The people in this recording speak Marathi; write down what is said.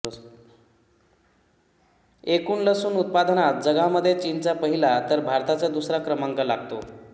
एकूण लसूण उत्पादनात जगामध्ये चीनचा पहिला तर भारताचा दुसरा क्रमांक लागतो